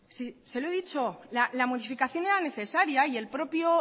si se lo he dicho la modificación era necesaria y el propio